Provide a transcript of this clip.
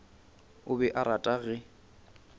o be a rata ge